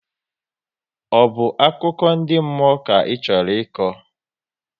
Ọ bụ akụkọ ndị mmụọ ka Ị chọrọ ịkọ?